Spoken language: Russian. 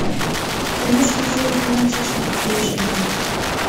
киношка еще один мальчишник включи мне